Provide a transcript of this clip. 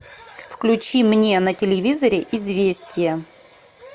включи мне на телевизоре известия